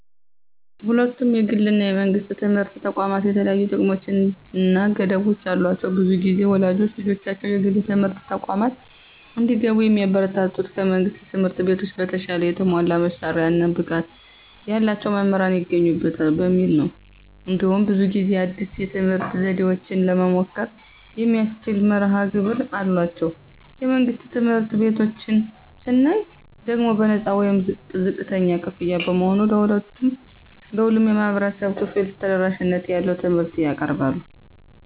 ሁለቱም የግል እና የመንግሥት ትምህርት ተቋማት የተለያዩ ጥቅሞች እና ገደቦች አሏቸው። ብዙ ጊዜ ወላጆች ልጆቻቸው የግል ትምህርት ተቋማት እንዲገቡ የሚያበረታቱት ከመንግሥት ትምህርት ቤቶች በተሻለ የተሟላ መሳሪያዎች እና ብቃት ያላቸው መምህራን ይገኙበታል በሚል ነው። እንዲሁም ብዙ ጊዜ አዲስ የትምህርት ዘዴዎችን ለመሞከር የሚያስችል መርሀ ግብር አላቸው። የመንግሥት ትምህርት ቤቶችን ስናይ ደግሞ በነፃ ወይም ዝቅተኛ ክፍያ በመሆኑ ለሁሉም የህብረተሰብ ክፍል ተደራሽነት ያለው ትምህርት ያቀርባሉ።